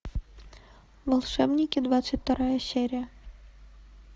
волшебники двадцать вторая серия